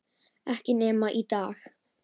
Ekki nema á daginn